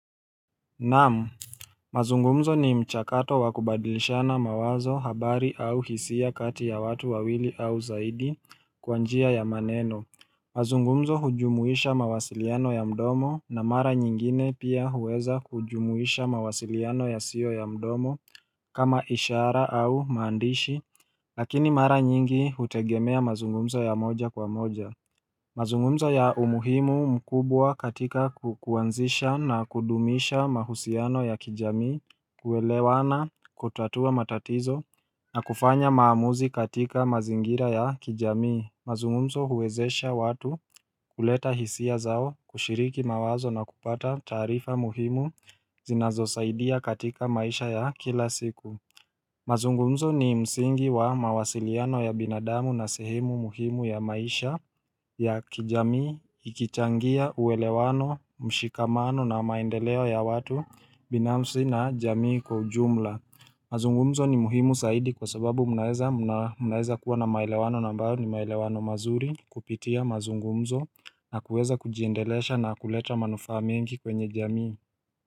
Naam mazungumzo ni mchakato wa kubadilishana mawazo, habari au hisia kati ya watu wawili au zaidi kwa njia ya maneno mazungumzo hujumuisha mawasiliano ya mdomo na mara nyingine pia huweza kujumuisha mawasiliano yasiyo ya mdomo kama ishara au maandishi Lakini mara nyingi hutegemea mazungumzo ya moja kwa moja mazungumzo yana umuhimu mkubwa katika kuanzisha na kudumisha mahusiano ya kijamii kuelewana kutatua matatizo na kufanya maamuzi katika mazingira ya kijamii mazungumzo huwezesha watu kuleta hisia zao kushiriki mawazo na kupata taarifa muhimu zinazo saidia katika maisha ya kila siku ni kuwa mawasiliano ya binadamu ni sehemu muhimu ya maisha ya kijamii ikichangia uwelewano, mshikamano na maendeleo ya watu binafsi na jamii kwa ujumla. Mazungumzo ni muhimu zaidi kwa sababu mnaweza kuwa na maelewano ambayo ni maelewano mazuri kupitia mazungumzo na kuweza kujiendelesha na kuleta manufaa mengi kwenye jamii.